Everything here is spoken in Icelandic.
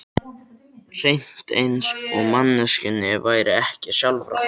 Hreint eins og manneskjunni væri ekki sjálfrátt.